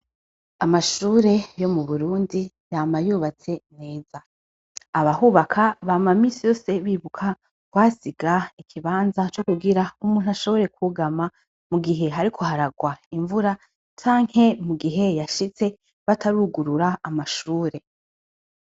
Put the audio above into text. Amashure yo mu Burundi yama yubatse neza abahubaka bama misi yose bibuka kuyasiga ikibanza co kugira umuntu ashobora kwugama mu gihe hariko haragwa imvura canke mu gihe yashitse batarugurura amashure.